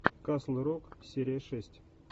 касл рок серия шесть